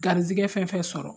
Garijɛgɛ fɛn o fɛn sɔrɔ